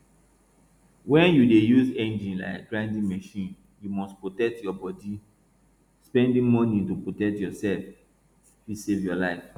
when you dey use engine like grinding machine you must protect your body spending money to protect yourself fit save your life